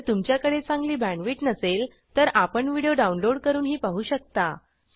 जर तुमच्याकडे चांगली बॅण्डविड्थ नसेल तर आपण व्हिडिओ डाउनलोड करूनही पाहू शकता